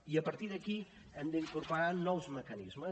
i a partir d’aquí hem d’incorporar nous mecanismes